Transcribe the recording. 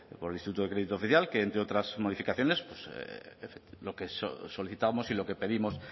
por el instituto de crédito oficial que entre otras modificaciones pues lo que solicitábamos y lo que pedimos